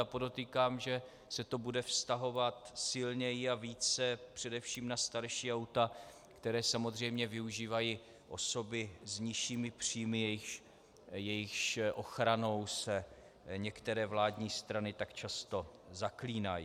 A podotýkám, že se to bude vztahovat silněji a více především na starší auta, která samozřejmě využívají osoby s nižšími příjmy, jejichž ochranou se některé vládní strany tak často zaklínají.